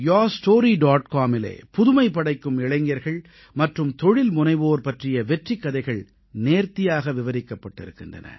comஇலே புதுமை படைக்கும் இளைஞர்கள் மற்றும் தொழில்முனைவோர் பற்றிய வெற்றிக் கதைகள் நேர்த்தியாக விவரிக்கப்பட்டிருக்கின்றன